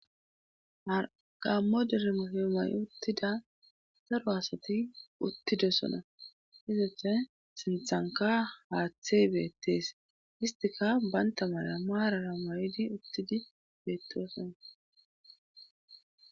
Haqammo dirmosiomay uttida zaro asati uttidosona hizathe sinthanka haaththey beettees istika baynta mala maarara ma7idi uttidi beettosona.